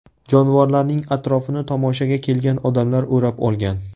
Jonivorlarning atrofini tomoshaga kelgan odamlar o‘rab olgan.